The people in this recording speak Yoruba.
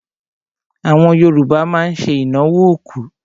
Àwọn Yorùbá má ń ṣe ìnáwó òkú.